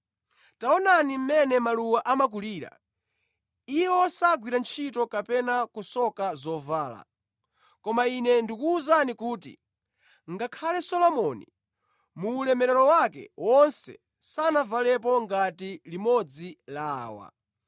“Taonani mmene maluwa amakulira. Iwo sagwira ntchito kapena kusoka zovala. Koma Ine ndikuwuzani kuti, ngakhale Solomoni muulemelero wake wonse sanavalepo ngati limodzi la awa.